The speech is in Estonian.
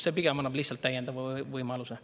See pigem annab lihtsalt täiendava võimaluse.